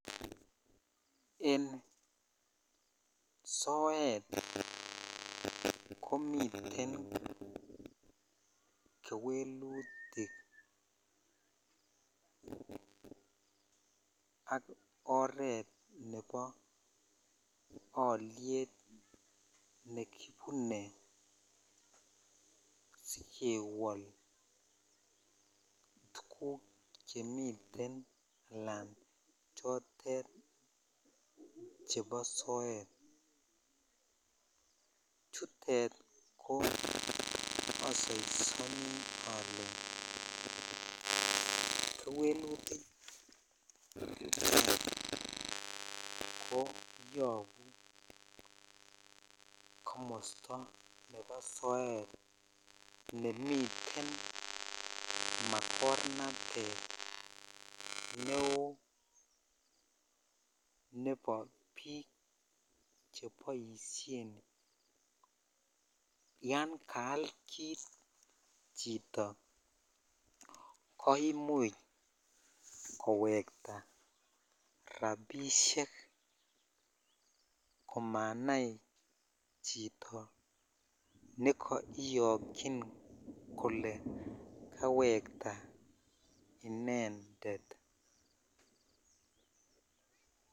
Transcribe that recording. En soet ko miten kewelutik ak oret nebo olyet nekibune sikewol tuguk chemiten alan tuguk chebo soet chutet asaisonin ole kewelutik ko yobu komosto nebo soet nemiten makornatet neo nebo biik cheboishen yan kaal kit chito ko imuch kowektaa rabishek komanai chito nekaiyokyin kole kawekta intended.